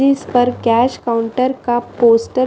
जिस पर cash counter का पोस्टर --